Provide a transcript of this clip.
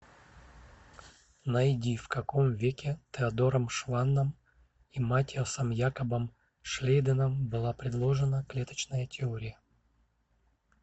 найди в каком веке теодором шванном и маттиасом якобом шлейденом была предложена клеточная теория